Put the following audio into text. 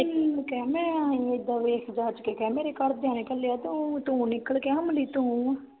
ਕਹਿੰਦਾ ਕਹਿ ਮੈਂ ਈ ਹੈ ਏਦਾਂ ਵੇਚ ਵਾਚ ਕਹਿ ਮੇਰੇ ਘਰਦਿਆਂ ਨੇ ਘੱਲਿਆ ਤੂੰ ਨਿਕਲ ਕੇ ਅਮਲੀ ਤੂੰ